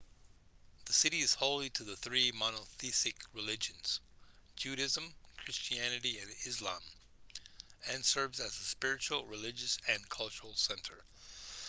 the city is holy to the three monotheistic religions judaism christianity and islam and serves as a spiritual religious and cultural center